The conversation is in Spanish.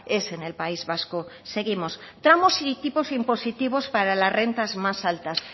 es en el país vasco seguimos tramos y tipos impositivos para las rentas más altas